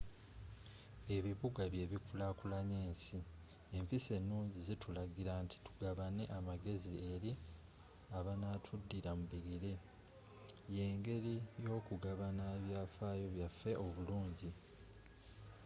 ebibuga byebikulakulanya ensi empisa enungi zitulagira nti tugabane amagezi eri abanatudira mu bigere yengeri yokugabana ebyafayo byaffe oburungi